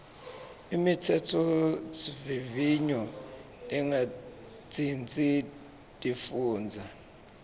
imitsetfosivivinyo lengatsintsi tifundza